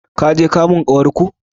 Kun je kamun ƙawar ku?